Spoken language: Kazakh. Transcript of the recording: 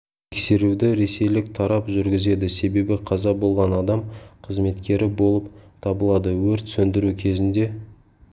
тексеруді ресейлік тарап жүргізеді себебі қаза болған адам қызметкері болып табылады өрт сөндіру кезінде